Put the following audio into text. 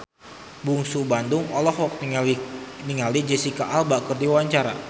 Bungsu Bandung olohok ningali Jesicca Alba keur diwawancara